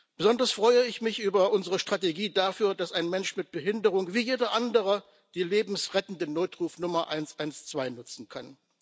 Besonders freue ich mich über unsere Strategie dafür, dass ein Mensch mit Behinderung wie jeder andere die lebensrettende Notrufnummer 112 nutzen kann.